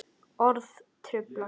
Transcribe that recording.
Orð trufla.